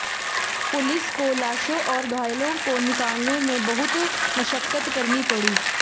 police को लाशों और घायलों को निकालने में बहुत मशक्कत करनी पड़ी